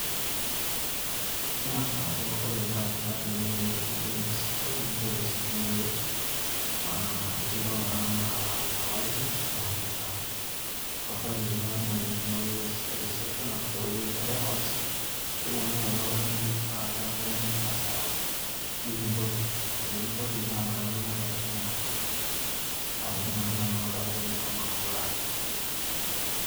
kang'as alo ore pee ibaya sipitali, nijing' ewueji naji ene reception nikinchori e receipt teine wueji, nio tenakata aton tolaini iyanyita, orfile lino metudumuni teine wueji e reception arashu te wueji e records pee etumokini aayaki oldakitari, pee eku iyanyu naa esaa nikimpoti, ore pee kimpoti naa inakata itumoki atijing'aki oldakitari ashomo atoduare.